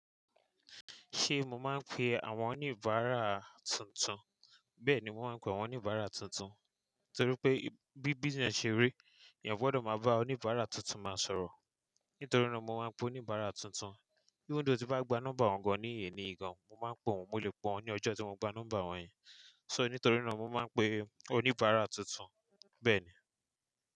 Ṣé mo máa ń pe àwọn oníbàárà tuntun? Bẹ́ẹ̀ni, mo máa ń pe àwọn oníbàárà tuntun, torí pé bí business ṣe rí, èèyàn gbọ́dọ̀ máa bá oníbàárà tuntun máa sọ̀rọ̀. Nítorí náà mo máa ń pe oníbàárà tuntun. Kíni ó ti bá gba nọ́mbà wọn gan-an ní èyí nìyẹn gan-an, mo máa ń pe wọ́n, mo lè pé wón ní ọjọ́ tí mo gba nọ́mbà wọ́n yẹn. So, nítorí náà mo máa ń pe oníbàárà tuntun, bẹ́ẹ̀ ni.